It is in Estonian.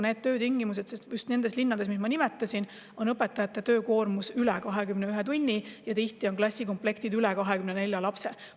Just nendes linnades, mida ma nimetasin, on õpetajate töökoormus üle 21 tunni ja klassikomplektis tihti üle 24 lapse.